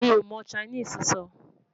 mí o mọ Chinese sọ